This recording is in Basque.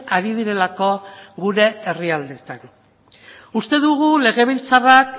ari direlako gure herrialdeetan uste dugu legebiltzarrak